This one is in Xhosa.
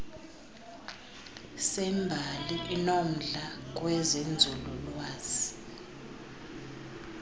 sembali inomdla kwezenzululwazi